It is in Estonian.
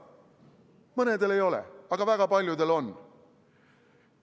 Mõnel ei ole, aga väga paljudel on.